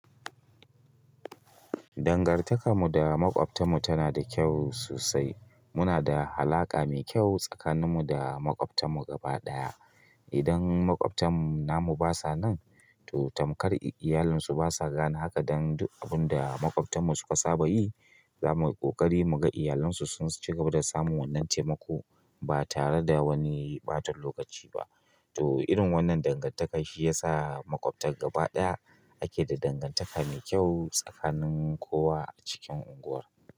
Dangantakarmu da makwabtan mu tana da kyau sosai. Muna da alaƙa mai kyau tsakaninmu da makwabtan mu gaba ɗaya. Idan makwabtan namu basa nan, to tamkar iyalansu basa gane haka dan duk abun da makwabtanmu suka saba yi, zamu yi ƙoƙari mu ga iyalansu sun cigaba da samun wannan taimako ba tare da wani ɓatan lokaci ba. To irin wannan dangantaka shi ya sa makwabtan gaba ɗaya ake da dangantaka mai kyau tsakanin kowa a cikin unguwar.